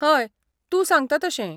हय, तूं सांगता तशें.